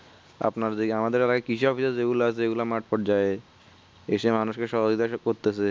আপনার যেই আমাদের সেইগুলা মাঠ পর্যায় যাই এইসব মানুষ কে সহযোগিতা করতেছে